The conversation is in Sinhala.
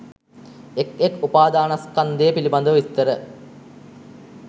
එක් එක් උපාදානස්කන්ධය පිළිබඳව විස්තර